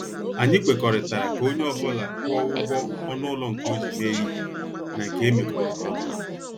Anyị kwekọrịtara ka onye ọ bụla kwụọ ụgwọ ọnụ ụlọ nke o ji mee ihe na nke emekotara ọnụ